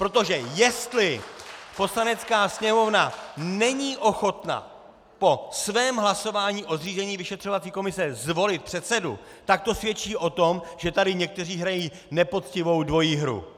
Protože jestli Poslanecká sněmovna není ochotna po svém hlasování o zřízení vyšetřovací komise zvolit předsedu, tak to svědčí o tom, že tady někteří hrají nepoctivou dvojí hru.